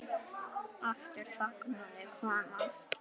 Aftur þagnaði konan.